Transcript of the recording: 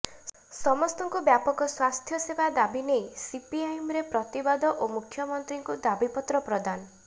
ସମସ୍ତଙ୍କୁ ବ୍ୟାପକ ସ୍ୱାସ୍ଥ୍ୟସେବା ଦାବିନେଇ ସିପିଆଇଏମ୍ର ପ୍ରତିବାଦ ଓ ମୁଖ୍ୟମନ୍ତ୍ରୀଙ୍କୁ ଦାବିପତ୍ର ପ୍ରଦାନ